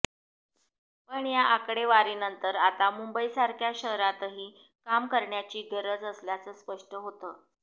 पण या आकडेवारीनंतर आता मुंबईसारख्या शहरातही काम करण्याची गरज असल्याचं स्पष्ट होतं